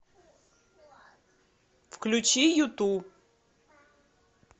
включи юту